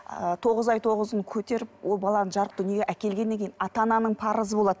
ы тоғыз ай тоғыз күн көтеріп ол баланы жарық дүниеге әкелгеннен кейін ата ананың парызы болады